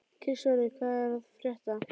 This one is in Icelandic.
Kristvarður, hvað er að frétta?